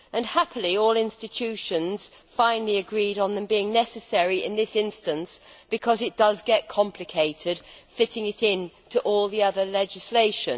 Happily, all institutions finally agreed on them being necessary in this instance, because it gets complicated fitting it in to all the other legislation.